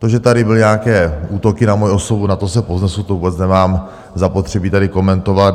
To, že tady byly nějaké útoky na moji osobu, nad to se povznesu, to vůbec nemám zapotřebí tady komentovat.